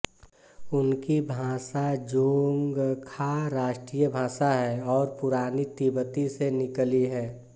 उनकी भाषा ज़ोंगखा राष्ट्रीय भाषा है और पुरानी तिब्बती से निकली है